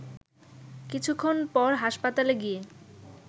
কিছুক্ষণ পর হাসপাতালে গিয়ে